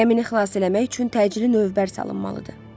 Gəmini xilas eləmək üçün təcili lövbər salınmalıdır.